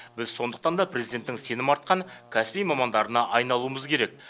біз сондықтанда президенттің сенім артқан кәсіби мамандарына айналуымыз керек